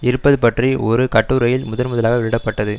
இருப்பது பற்றி ஒரு கட்டுரையில் முதன்முதலாக வெளியிட பட்டது